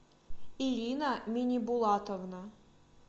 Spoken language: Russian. ирина минибулатовна